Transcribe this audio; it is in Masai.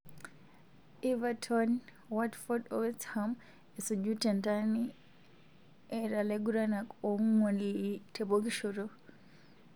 Everton ,Watford o West Ham esuju tentani eta laiguranak onguan te pokishoto.